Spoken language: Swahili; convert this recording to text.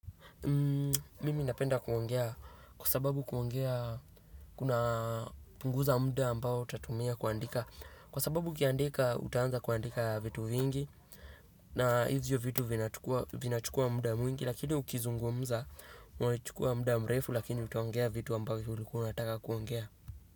Mimi napenda kuongea kwa sababu kuongea kuna punguza mda ambao utatumia kuandika, kwa sababu ukiandika utaanza kuandika vitu vingi na hivyo vitu vina chukua mda mwingi, lakini ukizungumza unachukua mda mrefu lakini utuongea vitu ambavyo ulikua unataka kuongea.